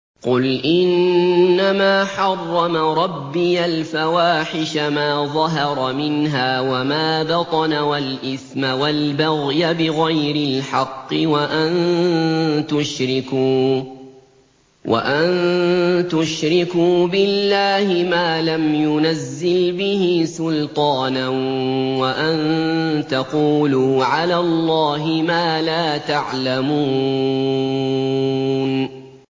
قُلْ إِنَّمَا حَرَّمَ رَبِّيَ الْفَوَاحِشَ مَا ظَهَرَ مِنْهَا وَمَا بَطَنَ وَالْإِثْمَ وَالْبَغْيَ بِغَيْرِ الْحَقِّ وَأَن تُشْرِكُوا بِاللَّهِ مَا لَمْ يُنَزِّلْ بِهِ سُلْطَانًا وَأَن تَقُولُوا عَلَى اللَّهِ مَا لَا تَعْلَمُونَ